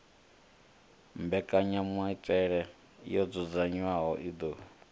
mbekanyamaitele yo dzudzanywaho i ḓo